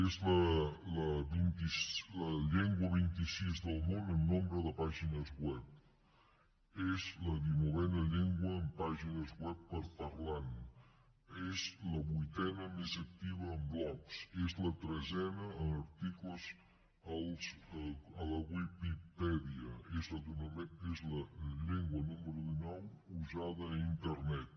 és la llengua vint i sis del món en nombre de pàgines web és la dinovena llengua en pagines web per parlant és la vuitena més activa en blogs és la tretzena en articles a la viquipèdia és la llengua número dinou usada a internet